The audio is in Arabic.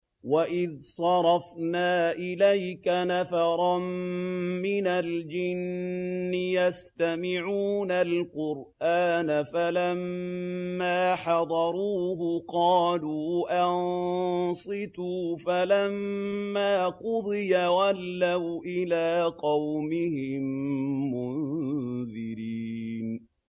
وَإِذْ صَرَفْنَا إِلَيْكَ نَفَرًا مِّنَ الْجِنِّ يَسْتَمِعُونَ الْقُرْآنَ فَلَمَّا حَضَرُوهُ قَالُوا أَنصِتُوا ۖ فَلَمَّا قُضِيَ وَلَّوْا إِلَىٰ قَوْمِهِم مُّنذِرِينَ